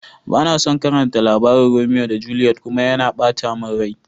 Bana son karatan labarin Romea da Juliet kuma, yana bata mun rai.